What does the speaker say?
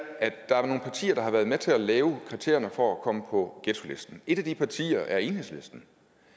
nogle partier der har været med til at lave kriterierne for at komme på ghettolisten et af de partier er enhedslisten